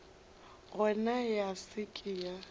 gona ya se ke ya